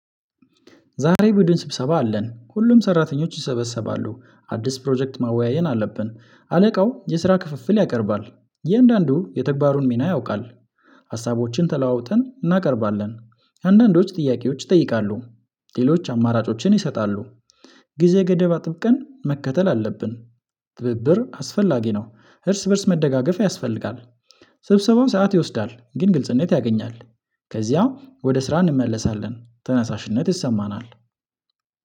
ዛሬ ቡድን ስብሰባ አለን ሁሉም ሰራተኞች ይሰበሰባሉ አዲስ ፕሮጀክት ማወያየት አለብን አለቃው የስራ ክፍፍል ያቀርባል እያንዳንዱ የተግባሩን ሚና ያውቃል። ሀሳቦችን ተለዋውጠን እናቀርባለን። አንዳንዶች ጥያቄዎች ይጠይቃሉ። ሌሎች አማራጮችን ይሰጣሉ። ጊዜ ገደብ አጥብቀን መከተል አለብን። ትብብር አስፈላጊ ነው እርስ በእርስ መደጋገፍ ያስፈልጋል። ስብሰባው ሰዓት ይወስዳል ግን ግልጽነት ያገኛል። ከዚያም ወደ ስራ እንመለሳለን ተነሳሽነት ይሰማናል